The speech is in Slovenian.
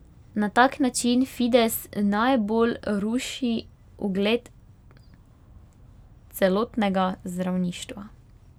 Na tak način Fides najbolj ruši ugled celotnega zdravništva.